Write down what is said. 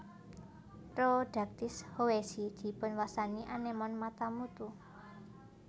Rhodactis howesi dipunwastani anémon Mata mutu